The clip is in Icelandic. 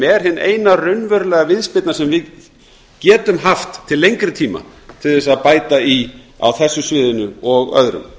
er hin eina raunverulega viðspyrna sem við getum haft til lengri tíma til að bæta í á þessu sviðinu og öðrum